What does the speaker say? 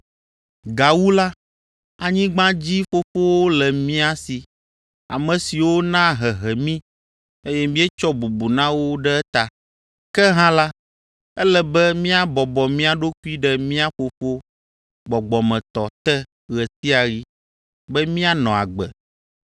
Gawu la, anyigbadzifofowo le mía si, ame siwo naa hehe mí, eye míetsɔ bubu na wo ɖe eta. Ke hã la, ele be míabɔbɔ mía ɖokui ɖe mía Fofo gbɔgbɔmetɔ te ɣe sia ɣi be míanɔ agbe!